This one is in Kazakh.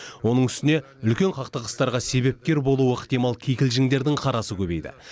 оның үстіне үлкен қақтығыстарға себепкер болуы ықтимал кикілжіңдердің қарасы көбейді